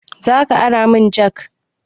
Zaka ara mun jak?